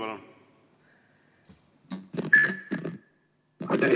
Aitäh!